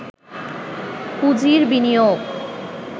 পুঁজির বিনিয়োগ